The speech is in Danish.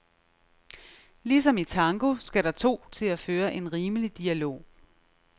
Ligesom i tango skal der to til at føre en rimelig dialog.